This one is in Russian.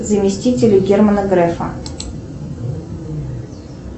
заместители германа грефа